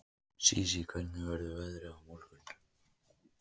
Sísí, hvernig verður veðrið á morgun?